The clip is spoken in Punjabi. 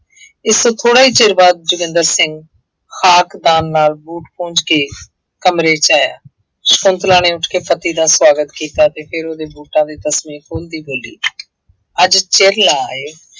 ਇਸ ਤੋਂ ਥੋੜ੍ਹਾ ਹੀ ਚਿਰ ਬਾਅਦ ਜੋਗਿੰਦਰ ਸਿੰਘ ਨਾਲ ਬੂਟ ਪੂੰਜ ਕੇ ਕਮਰੇ ਚ ਆਇਆ, ਸੰਕੁਤਲਾ ਨੇ ਉੱਠ ਕੇ ਪਤੀ ਦਾ ਸਵਾਗਤ ਕੀਤਾ ਤੇ ਫਿਰ ਉਹਦੇ ਬੂਟਾਂ ਦੇ ਤਸਮੇ ਖੋਲਦੀ ਬੋਲੀ ਅੱਜ ਚਿਰ ਲਾ ਆਏ